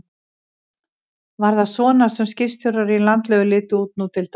Var það svona sem skipstjórar í landlegu litu út nú til dags?